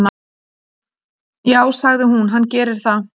"""Já, sagði hún, hann gerir það."""